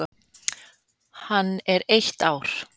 Hann er eitt ár.